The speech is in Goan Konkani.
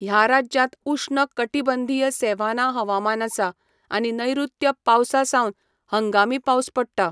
ह्या राज्यांत उश्ण कटिबंधीय सॅव्हाना हवामान आसा, आनी नैऋत्य पावसा सावन हंगामी पावस पडटा.